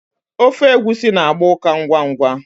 Ofe egusi na-agba ukà ngwa ngwa.